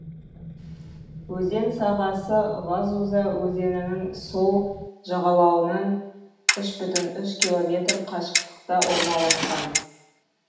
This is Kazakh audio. өзен сағасы вазуза өзенінің сол жағалауынан үш бүтін үш километр қашықтықта орналасқан